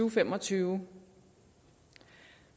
og fem og tyve